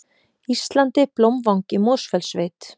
Íslandi, Blómvang í Mosfellssveit.